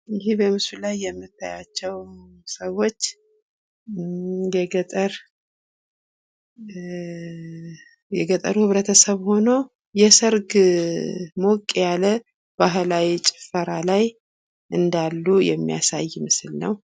ይህ በምስሉ ላይ የምናያቸው ሰዎች የገጠሩ ህብረተሰብ ሆነው ሞቅ ያለ የሰርግ ጭፈራ ላይ እንዳሉ የሚያሳይ ነው።